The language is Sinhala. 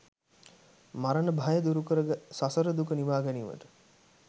මරණභය දුරුකර සසරදුක නිවාගැනීමට